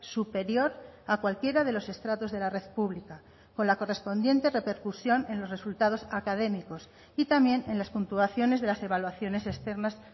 superior a cualquiera de los estratos de la red pública con la correspondiente repercusión en los resultados académicos y también en las puntuaciones de las evaluaciones externas